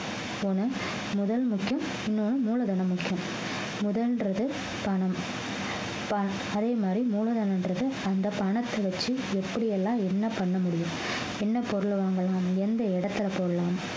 முதல் முக்கியம் இன்னொன்னு மூலதனம் முக்கியம் முதல்ன்றது பணம் ப~ அதே மாதிரி மூலதனம்ன்றது அந்த பணத்தை வச்சு எப்படி எல்லாம் என்ன பண்ண முடியும் என்ன பொருள் வாங்கலாம் எந்த இடத்துல போடலாம்